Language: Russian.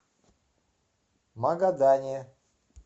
магадане